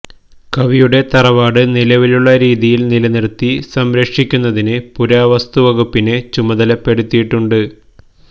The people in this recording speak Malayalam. കവിയുടെ തറവാട് നിലവിലുളള രീതിയില് നിലനിര്ത്തി സംരക്ഷിക്കുന്നതിന് പുരാവസ്തു വകുപ്പിനെ ചുമതലപ്പെടുത്തിയിട്ടുണ്ട്